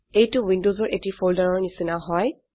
এইটো উইন্ডোসৰ এটি ফোল্ডাৰৰ নিচিনা হয়